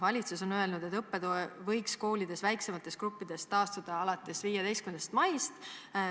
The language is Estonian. Valitsus on öelnud, et õppetöö võiks koolides väiksemates gruppides taastada alates 15. maist.